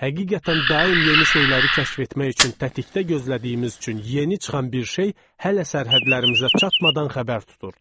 Həqiqətən, daim yeni şeyləri kəşf etmək üçün tətikdə gözlədiyimiz üçün yeni çıxan bir şey hələ sərhədlərimizə çatmadan xəbər tuturduq.